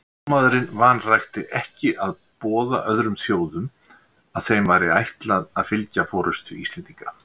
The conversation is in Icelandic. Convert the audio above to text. Spámaðurinn vanrækti ekki að boða öðrum þjóðum, að þeim væri ætlað að fylgja forystu Íslendinga.